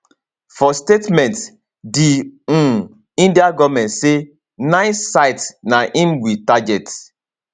for statement di um indian goment say nine sites na im we target